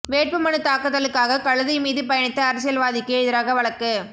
வேட்பு மனுத் தாக்கலுக்காக கழுதை மீது பயணித்த அரசியல்வாதிக்கு எதிராக வழக்கு